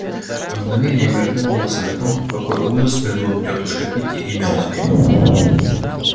на мгновение мелькнула мысль о том в какой ужас придут тётушка питти и мелани